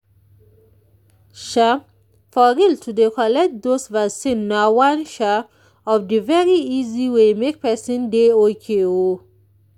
sha for real to dey collect those vaccine na one sha of the very easy way make pesin dey ok o